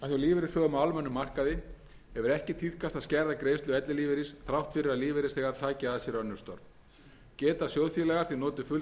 lífeyrissjóðum á almennum markaði hefur ekki tíðkast að skerða greiðslu ellilífeyris þrátt fyrir að lífeyrisþegar taki að sér önnur störf geta sjóðfélagar því notið fulls ellilífeyris